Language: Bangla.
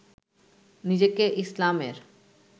নিজেকে ইসলামের